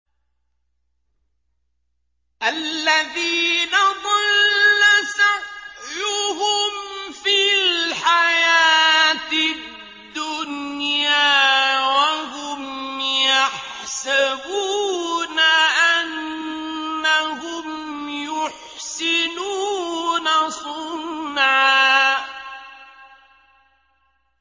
الَّذِينَ ضَلَّ سَعْيُهُمْ فِي الْحَيَاةِ الدُّنْيَا وَهُمْ يَحْسَبُونَ أَنَّهُمْ يُحْسِنُونَ صُنْعًا